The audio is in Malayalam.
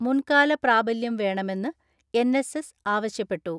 മുൻകാല പ്രാബല്യം വേണമെന്ന് എൻ എസ് എസ് ആവശ്യപ്പെട്ടു.